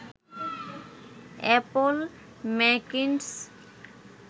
Apple Macintosh